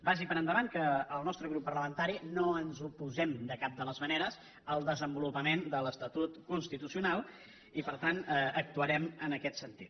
vagi per endavant que el nostre grup parlamentari no ens oposem de cap de les maneres al desenvolupament de l’estatut constitucional i per tant actuarem en aquest sentit